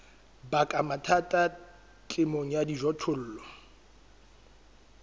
baka mathata temong ya dijothollo